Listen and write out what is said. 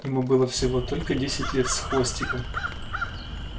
ему было всего только десять лет с хвостиком